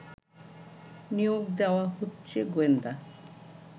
নিয়োগ দেয়া হচ্ছে গোয়েন্দা